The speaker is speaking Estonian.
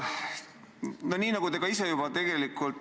Hea ettekandja!